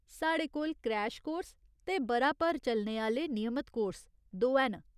साढ़े कोल, crash course ते ब'रा भर चलने आह्‌ले नियमत कोर्स, दोऐ न।